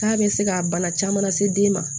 K'a bɛ se ka bana caman lase den ma